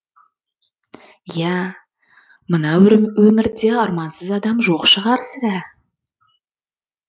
ия мына өмірде армансыз адам жоқ шығар сірә